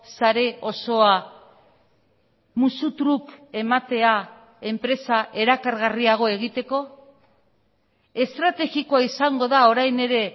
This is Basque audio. sare osoa musutruk ematea enpresa erakargarriago egiteko estrategikoa izango da orain ere